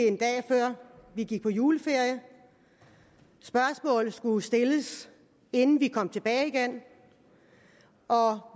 en dag før vi gik på juleferie spørgsmål skulle stilles inden vi kom tilbage igen og